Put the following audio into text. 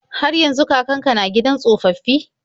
Har yanzu kakan ka na gidan tsofaffi?